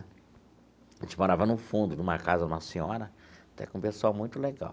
A gente morava no fundo de uma casa, uma senhora, até com um pessoal muito legal.